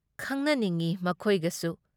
ꯈꯪꯅꯅꯤꯡꯢ ꯃꯈꯣꯏꯒꯁꯨ ꯫